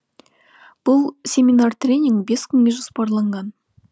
бұл семинар тренинг бес күнге жоспарланған